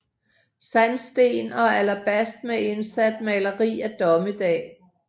Sandsten og alabast med indsat maleri af dommedag